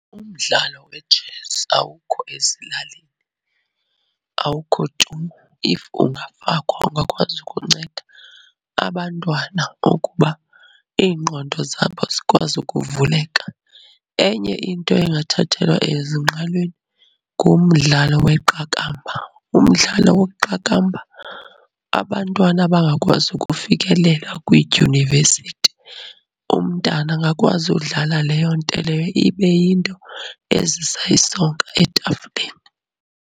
Umdlalo wetshesi awukho ezilalini, awukho tu if ungafakwa ungakwazi ukunceda abantwana ukuba iingqondo zabo zikwazi ukuvuleka. Enye into engathathelwa ezingqalweni ngumdlalo weqakamba. Umdlalo weqakamba abantwana abangakwazi ukufikelela kwiidyunivesithi, umntana angakwazi udlala leyo nto leyo, ibe yinto ezisa isonka etafileni.